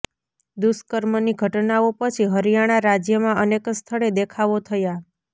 દુષ્કર્મની ઘટનાઓ પછી હરિયાણા રાજ્યમાં અનેક સ્થળે દેખાવો થયા